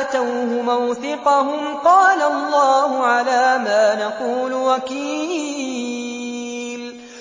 آتَوْهُ مَوْثِقَهُمْ قَالَ اللَّهُ عَلَىٰ مَا نَقُولُ وَكِيلٌ